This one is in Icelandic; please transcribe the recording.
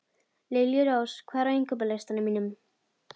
Liljurós, hvað er á innkaupalistanum mínum?